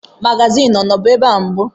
Magazin ọnọbu ebe a mbụ?